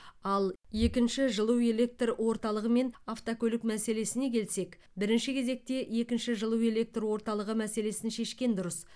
ал екінші жылу электр орталығы мен автокөлік мәселесіне келсек бірінші кезекте екінші жылу электр орталығы мәселесін шешкен дұрыс